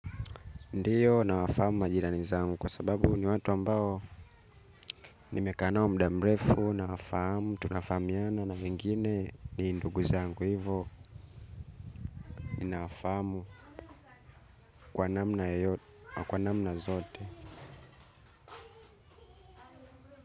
Ndiyo nawafahamu majirani zangu kwa sababu ni watu ambao nimekaa nao muda mrefu nawafahamu tunafamiana na wengine ni ndugu zangu hivo nawafahamu kwa namna yoyote wa kwa namna zote.